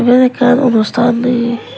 ye ekkan onusthan ye.